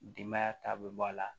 Denbaya ta bɛ bɔ a la